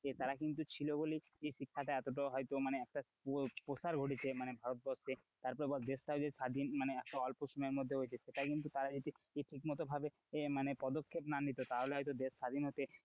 তারা কিন্তু ছিল বলেই শিক্ষাটা এতটা হয়তো এতটা মানে ঘড়িতে মানে ভারতবর্ষে তারপরে বল দেশ টা যে স্বাধীন মানে একটা অল্প সময়ের মধ্যে হয়েছে সেটাই কিন্তু তারা যদি ঠিকমত ভাবে মানে পদক্ষেপ না নিতো তাহলে হয়তো দেশ স্বাধীন হতে,